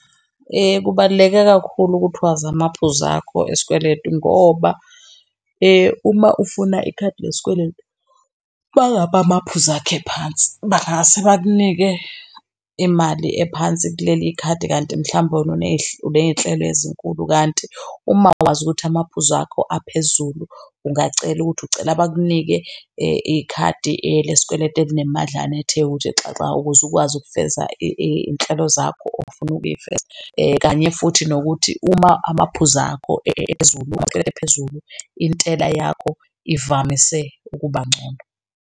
Kubaluleke kakhulu ukuthi wazi amaphuzu akho esikweletu ngoba uma ufuna ikhadi lesikweletu, uma ngabe amaphuzu akho ephansi, bangase bakunike imali ephansi kuleli khadi kanti mhlambe wena uney'nhlelo ezinkulu kanti uma wazi ukuthi amaphuzu akho aphezulu ungacela ukuthi ucela bakunike ikhadi lesikweletu elinemadlana ethe ukuthi xaxa ukuze ukwazi ukufeza iy'nhlelo zakho ofuna ukuy'feza kanye futhi nokuthi uma amaphuzu akho ephezulu ephezulu intela yakho ivamise ukuba ngcono.